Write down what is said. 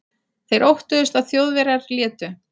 Þeir óttuðust, að Þjóðverjar létu